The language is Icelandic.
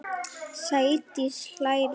Sædís hlær við.